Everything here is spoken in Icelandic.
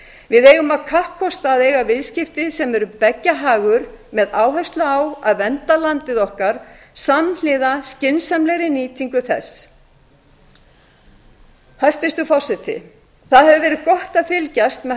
við eigum að kappkosta að eiga viðskipti sem eru beggja hagur með áherslu á að vernda landið okkar samhliða skynsamlegri nýtingu þess hæstvirtur forseti það hefur verið gott að fylgjast með